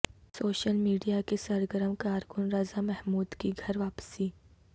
social media کے سرگرم کارکن رضا محمود کی گھر واپسی